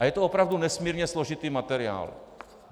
A je to opravdu nesmírně složitý materiál.